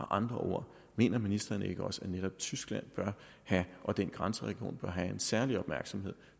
andre ord mener ministeren ikke også at netop tyskland og den grænseregion bør have en særlig opmærksomhed